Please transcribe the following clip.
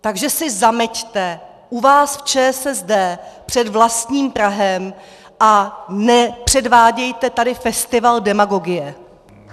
Takže si zameťte u vás v ČSSD před vlastním prahem a nepředvádějte tady festival demagogie!